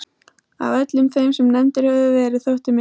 Af öllum þeim sem nefndir höfðu verið þótti mér